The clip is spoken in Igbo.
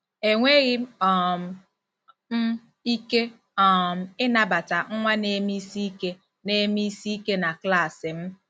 Enweghị um m ike um ịnabata nwa neme isi ike neme isi ike na klaasị m! ”